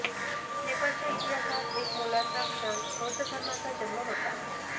नेपाळच्या इतिहासात एक मोलाचा क्षण बौद्ध धर्माचा जन्म होता